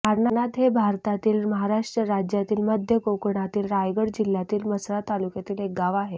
वारणात हे भारतातील महाराष्ट्र राज्यातील मध्य कोकणातील रायगड जिल्ह्यातील म्हसळा तालुक्यातील एक गाव आहे